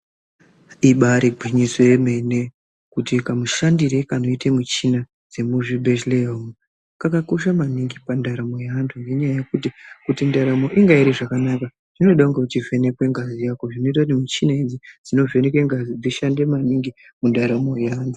Ibaari gwinyiso remene, kuti kamushandire kanoite michina dzemuzvibhedhlera umwo kakakosha maningi pandaramo yeantu. Ngenyaya yekuti kuti ndaramo kuti inge iri zvakanaka, zvinoda kunga uchivhenekwa ngazi yako, zvinoita kuti michina idzi dzinovheneka ngazi dzishande maningi mundaramo yeantu.